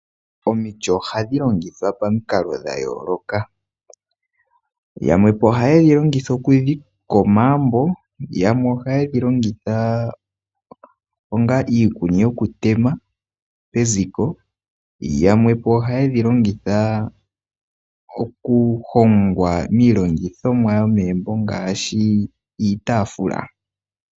Omiti ohadhi longithwa pamukalo dhayooloka. Yamwepo ohaye dhi longitha okudhika omagumbo, yamwe ohaye dhilongitha onga iikuni yoku tema peziko, yamwepo ohaye dhilongitha oku hongamo iilongithomwa yomegumbo ngaashi iitaafula.